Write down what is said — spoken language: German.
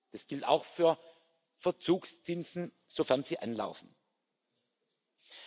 Das gilt auch für Verzugszinsen, sofern sie anfallen.